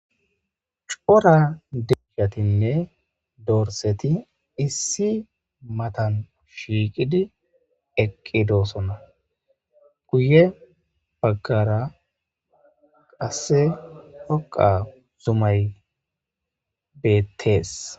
Cora deggatinne dorseti issi matan shiiqidi eqqidoosona guye baggara qasse hoqa zumay beettees.